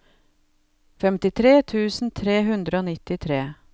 femtitre tusen tre hundre og nittitre